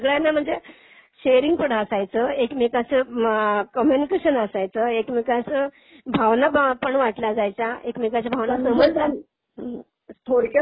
हो ना, त्यामुळेच सगळ्यांना म्हणजे शेअरिंग पण असायचं एकमेकाचं कम्युनिकेशन असायचं. एकमेकांचं भावना पण वाटल्या जायच्या एकमेकांच्या भावना समजून